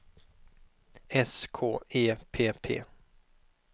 S K E P P